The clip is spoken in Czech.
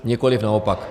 Nikoliv naopak.